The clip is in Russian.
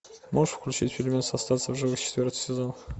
можешь включить фильмец остаться в живых четвертый сезон